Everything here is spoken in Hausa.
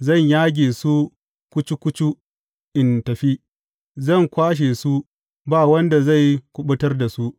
Zan yage su kucu kucu in tafi; zan kwashe su, ba wanda zai kuɓutar da su.